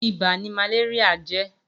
Ibà ni màléríà jè